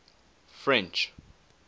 french